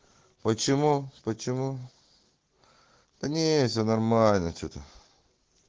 почему почему да нет всё нормально что ты